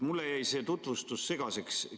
Mulle jäi see tutvustus segaseks.